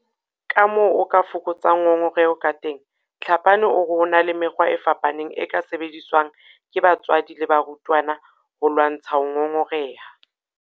Kamoo o ka fokotsang ngongoreho kateng Tlhapane o re ho na le mekgwa e fapaneng e ka sebediswang ke batswadi le barutwana ho lwantsha ho ngongoreha.